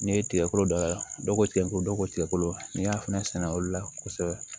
N'i ye tigɛkolo dayɛlɛ dɔ ko tigɛ ko dɔ ko tigɛkolo n'i y'a fɛnɛ sɛnɛ olu la kosɛbɛ